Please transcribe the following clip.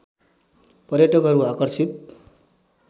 पर्यटकहरू आकर्षित